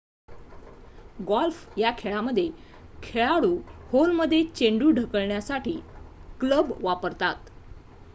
golf या खेळामध्ये खेळाडू होलमध्ये चेंडू ढकलण्यासाठी क्लब वापरतात